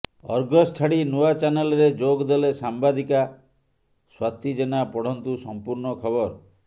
Argus ଛାଡି ନୂଆ channel ରେ ଯୋଗ ଦେଲେ ସାମ୍ବାଦିକା ସ୍ବାତି ଜେନା ପଢନ୍ତୁ ସମ୍ପୂର୍ଣ୍ଣ ଖବର